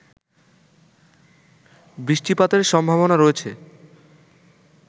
বৃষ্টিপাতের সম্ভাবনা রয়েছে